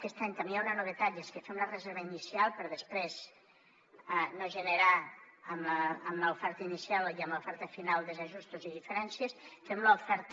aquest any també hi ha una novetat i és que fem la reserva inicial per després no generar amb l’oferta inicial i amb l’oferta final desajustos i diferències fem l’oferta